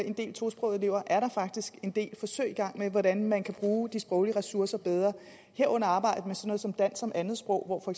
en del tosprogede elever faktisk en del forsøg i gang med hvordan man kan bruge de sproglige ressourcer bedre herunder at arbejde med sådan noget som dansk som andetsprog hvor for